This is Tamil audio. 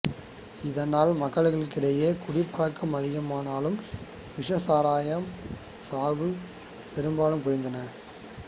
இதனால் மக்களிடையே குடிப்பழக்கம் அதிகமானாலும் விஷச்சாராயச் சாவுகள் பெருமளவு குறைந்துள்ளன